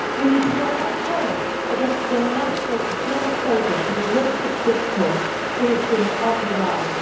We need to work at home against the nationalist, xenophobic and racists discourse we have seen on the rise.